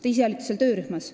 Te ise olite seal töörühmas.